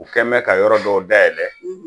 U kɛ bɛ ka yɔrɔ dɔw dayɛlɛ